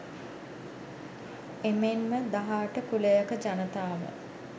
එමෙන්ම දහ අට කුලයක ජනතාව